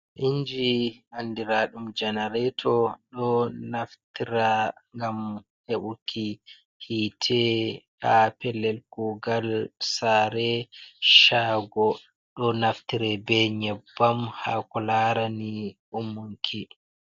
Inji andiraaɗum jenereeto, ɗo naftira gam heɓuki yi'ite haa pellel kuugal, saare, shaago. Ɗo naftire bee nyebbam ha ko laarani umminki.